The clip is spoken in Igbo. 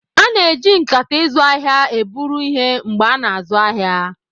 A na-eji nkata izu ahịa eburu ihe mgbe a na-azụ ahịa.